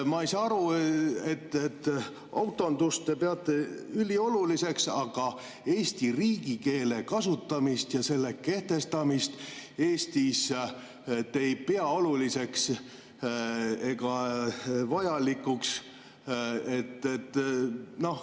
Ma ei saa aru, miks te peate autondust ülioluliseks, aga eesti keele, riigikeele kasutamist ja selle kehtestamist Eestis te ei pea oluliseks ega vajalikuks.